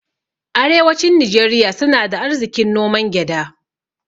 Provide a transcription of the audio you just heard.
Arewacin Nijeriya suna da arzikin noman gyada